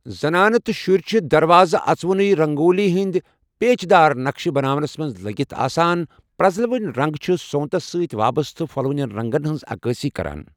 زنانہٕ تہٕ شُرۍ چھِ دروازٕ اژوُنُے رنگولی ہِنٛدۍ پیچ دار نقشہٕ بناونس منٛز لٔگِتھ آسان، پرٛزلوٕنۍ رنٛگ چھِ سونتس سۭتۍ وابستہٕ پھۄلوٕنیٛن رنٛگن ہِنٛز عکٲسی کران۔